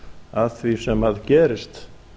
að því sem gerist